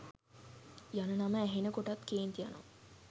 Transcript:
යන නම ඇහෙන කොටත් කේන්ති යනවා.